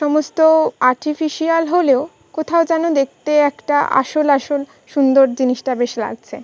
সমস্ত আর্টিফিশিয়াল হলেও কোথাও যেন দেখতে একটা আসল আসল সুন্দর জিনিসটা বেশ লাগছে।